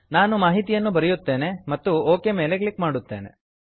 ನಾನು ಮಾಹಿತಿಯನ್ನು ಬರೆಯುತ್ತೇನೆ ಮತ್ತು ಒಕ್ ಮೇಲೆ ಕ್ಲಿಕ್ ಮಾಡುತ್ತೇನೆ